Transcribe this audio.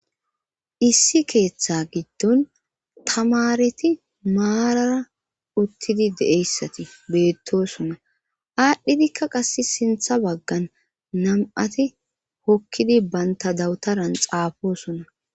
Issi keeththa giddon tamareti maarara uttidi de'eyssati beettossona aadhdhidikka qass siinththa baggan nam'ati hokkidi bantta dawutaran xaafossona